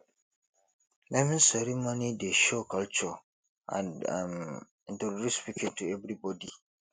naming ceremony dey show culture and um introduce pikin to everybody